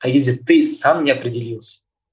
қай кезде ты сам не определился